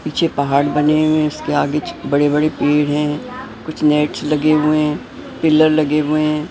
पीछे पहाड़ बने हुए हैं उसके आगे बड़े-बड़े पेड़ हैं कुछ नेट्स लगे हुए हैं पिलर लगे हुए हैं।